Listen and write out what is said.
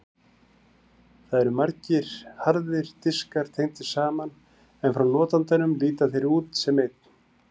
Þar eru margir harðir diskar tengdir saman en frá notandanum líta þeir út sem einn.